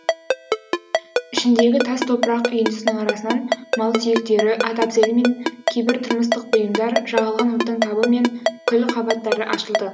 ішіндегі тас топырақ үйіндісінің арасынан мал сүйектері ат әбзелі мен кейбір тұрмыстық бұйымдар жағылған оттың табы мен күл қабаттары ашылды